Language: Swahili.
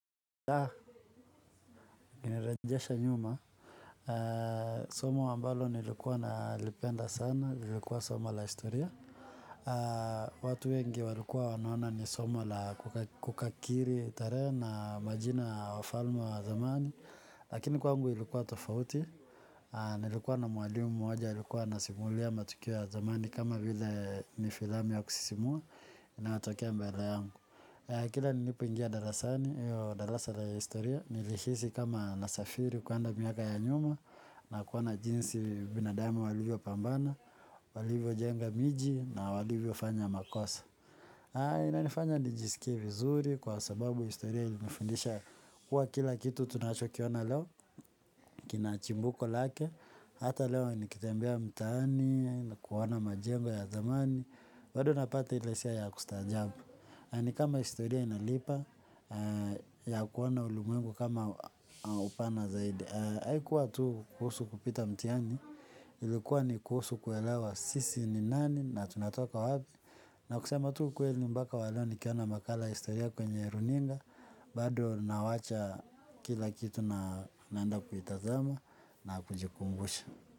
Nirejesha nyuma, somo ambalo nilikuwa na lipenda sana, lilikuwa somo la historia. Watu wengi walikuwa wanaona ni somo la kukakiri tarehe na majina ya wafalme wa zamani. Lakini kwangu ilikuwa tofauti, nilikuwa na mwalimu mmoja, alikuwa ana simulia matukio ya zamani kama vile ni filamu ya kusisimua inayotokea mbele yangu. Kila nilipoingia darasani, hio darasa la historia, nilihisi kama nasafiri kuenda miaka ya nyuma, na kuoana jinsi binadamu walivyo pambana, walivyo jenga miji, na walivyo fanya makosa. Haa, ina nifanya nijisikie vizuri kwa sababu historia ilinifundisha kuwa kila kitu tunacho kiona leo, kinachimbuko lake, hata leo nikitembea mtani, kuoana majengo ya zamani, bado napata ile hisia ya kustajabu. Ni kama historia inalipa ya kuona ulimwengu kama upana zaidi. Haikuwa tu kuhusu kupita mtihani ilikuwa ni kuhusu kuelewa sisi ni nani na tunatoka wapi. Na kusema tu ukweli mbaka wa leo nikiona makala ya historia kwenye runinga. Bado nawacha kila kitu na naenda kuitazama na kujikumbusha.